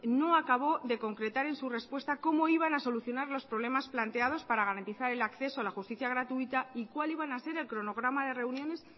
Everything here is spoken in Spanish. no acabó de concretar en su respuesta cómo iban a solucionar los problemas planteados para garantizar el acceso a la justicia gratuita y cuáles iban a ser el cronograma de reuniones